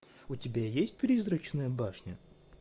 у тебя есть призрачная башня